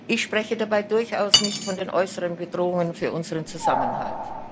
Ich spreche dabei durchaus nicht von den äußeren Bedrohungen für unseren Zusammenhalt.